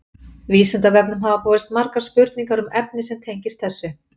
vísindavefnum hafa borist margar spurningar um efni sem tengist þessu